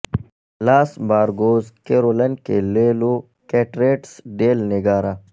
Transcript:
لاس بارکوز کیرولن کے لے لو کیٹریٹس ڈیل نیگارا